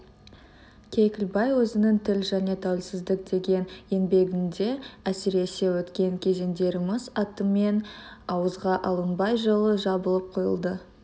кекілбай өзінің тіл және тәуелсіздік деген еңбегінде әсіресе өткен кезеңдеріміз атымен ауызға алынбай жылы жабылып қойылды